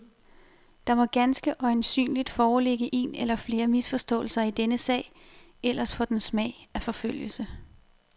Der må ganske øjensynligt foreligge en eller flere misforståelser i denne sag, ellers får den smag af forfølgelse.